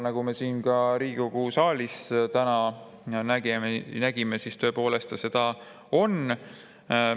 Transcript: Nagu me ka siin Riigikogu saalis täna nägime, tõepoolest ta seda on.